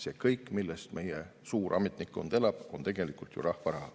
See kõik, millest meie suur ametnikkond elab, on tegelikult ju rahva raha.